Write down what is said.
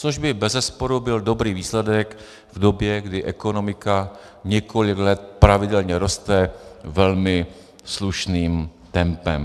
Což by bezesporu byl dobrý výsledek v době, kdy ekonomika několik let pravidelně roste velmi slušným tempem.